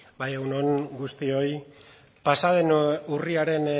bai egun on guztioi pasa den urriaren